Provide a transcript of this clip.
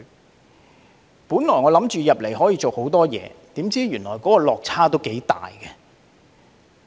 我原本以為進入議會可以做很多事，怎料原來落差也頗大。